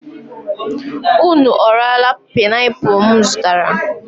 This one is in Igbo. Ụnụ ọ raala panaipụlụ m zụtara?